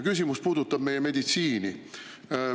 Küsimus puudutab meie meditsiini.